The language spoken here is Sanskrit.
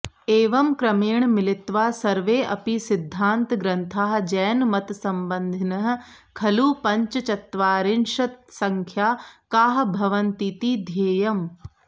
एवं क्रमेण मिलित्वा सर्वेऽपि सिद्धान्तग्रन्थाः जैनमतसम्बन्धिनः खलु पञ्चचत्वारिंशत्संख्याकाः भवन्तीति ध्येयम्